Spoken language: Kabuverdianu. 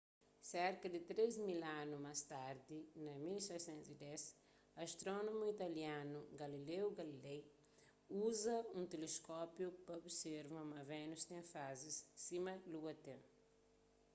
serka di três mil anu más tardi na 1610 astrónomu italianu galileo galilei uza un teleskópiu pa observa ma vénus ten fazis sima lua ten